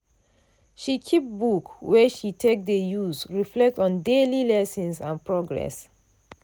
she keep book wey she take dey use reflect on daily lessons and progress.